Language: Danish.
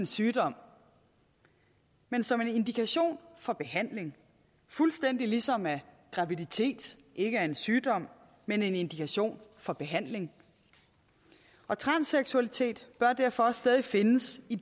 sygdom men som en indikation for behandling fuldstændig ligesom at graviditet ikke er en sygdom men en indikation for behandling og transseksualitet bør derfor også stadig findes i